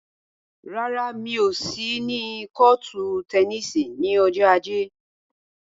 Rárá, mi ò sí ní kọ́ọ̀tù tẹníìsì ní ọjọ́ ajé.